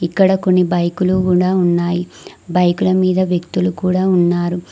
ఇక్కడ కొన్ని బైకులు కూడా ఉన్నాయి బైకుల మీద వ్యక్తులు కూడా ఉన్నారు.